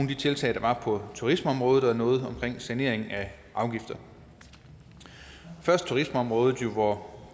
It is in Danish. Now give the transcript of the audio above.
de tiltag der er på turismeområdet og noget omkring sanering af afgifter først turismeområdet hvor